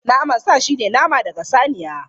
Naman sa shine nama daga saniya.